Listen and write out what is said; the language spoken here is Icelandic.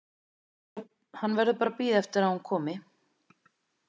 Hann verður bara að bíða eftir að hún komi.